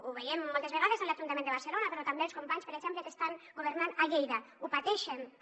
ho veiem moltes vegades a l’ajuntament de barcelona però també els companys per exemple que estan governant a lleida ho pateixen també